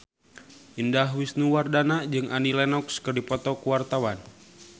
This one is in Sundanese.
Indah Wisnuwardana jeung Annie Lenox keur dipoto ku wartawan